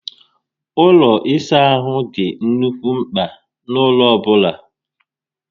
Ụlọ ịsa ahụ dị nnukwu mpka n'ụlọ ọbụla